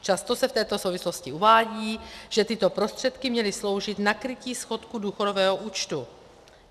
Často se v této souvislosti uvádí, že tyto prostředky měly sloužit na krytí schodku důchodového účtu.